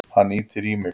Hann ýtir í mig.